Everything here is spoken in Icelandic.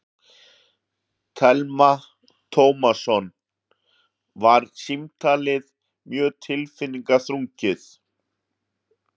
Telma Tómasson: Var símtalið mjög tilfinningaþrungið?